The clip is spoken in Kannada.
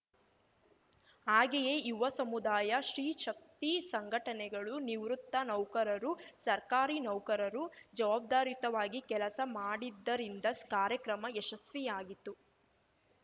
ಹಾಗೆಯೇ ಯುವ ಸಮುದಾಯ ಸ್ತ್ರೀ ಶಕ್ತಿ ಸಂಘಟನೆಗಳು ನಿವೃತ್ತ ನೌಕರರು ಸರ್ಕಾರಿ ನೌಕರರು ಜವಾಬ್ದಾರಿಯುತವಾಗಿ ಕೆಲಸ ಮಾಡಿದ್ದರಿಂದ ಕಾರ್ಯಕ್ರಮ ಯಶಸ್ವಿಯಾಗಿತು